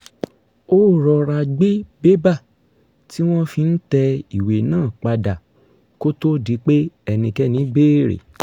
ó rọra gbé bébà tí wọ́n fi ń tẹ ìwé náà pa dà kó tó di pé ẹnikẹ́ni béèrè